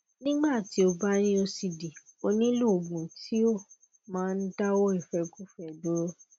nígbà tí ó bá ní ocd ó nílò oògùn tí ó máa ń dawo ifekufe duro